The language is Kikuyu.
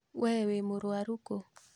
Wee wĩmũrwaru kũ?